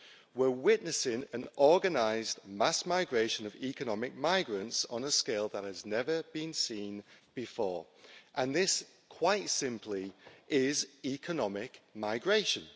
We're witnessing an organised mass migration of economic migrants on a scale that has never been seen before and this, quite simply, is economic migration.